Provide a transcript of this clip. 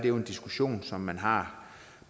en diskussion som man har